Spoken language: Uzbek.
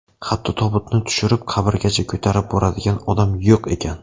Hatto tobutni tushirib qabrgacha ko‘tarib boradigan odam yo‘q ekan.